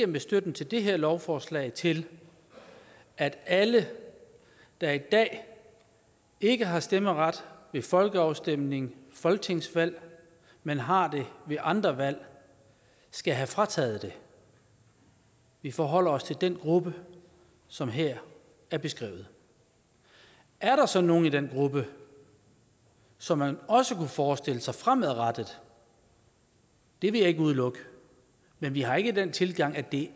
med støtten til det her lovforslag ikke til at alle der i dag ikke har stemmeret ved folkeafstemninger og folketingsvalg men har det ved andre valg skal have frataget det vi forholder os til den gruppe som her er beskrevet er der så nogen i den gruppe som man også kunne forestille sig fremadrettet det vil jeg ikke udelukke men vi har ikke den tilgang at det